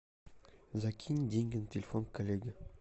закинь деньги на телефон коллеги